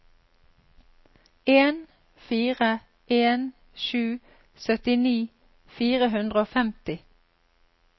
en fire en sju syttini fire hundre og femti